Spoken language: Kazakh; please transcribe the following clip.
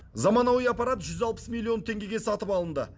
заманауи аппарат жүз алпыс миллион теңгеге сатып алынды